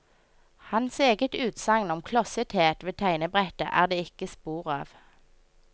Hans eget utsagn om klossethet ved tegnebrettet er det ikke spor av.